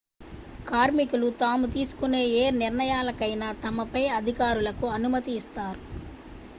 కార్మికులు తాము తీసుకునే ఏ నిర్ణయాలకైనా తమ పై అధికారులకు అనుమతి నిస్తారు